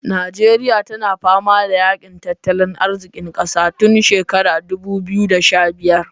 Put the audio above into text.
Nijeriya tana fama da yaƙi tattalin arzikin ƙasa tun shekarar dudu biyu da sha biyar